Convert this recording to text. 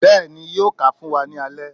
béèni yóò kà fún wá ní alé